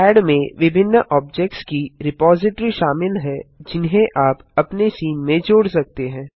add में विभिन्न objects की रिपोजिटरी शामिल हैं जिन्हें आप अपने सीन में जोड़ सकते हैं